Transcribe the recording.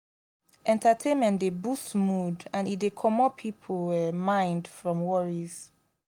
entertainment dey boost mood and e dey comot pipo mind from worries